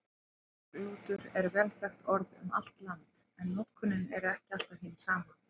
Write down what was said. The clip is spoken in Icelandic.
Karklútur er vel þekkt orð um allt land, en notkunin er ekki alltaf hin sama.